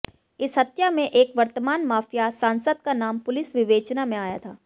इस हत्या में एक वर्तमान मा़फिया सांसद का नाम पुलिस विवेचना में आया था